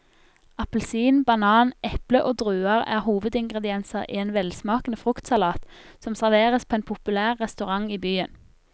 Appelsin, banan, eple og druer er hovedingredienser i en velsmakende fruktsalat som serveres på en populær restaurant i byen.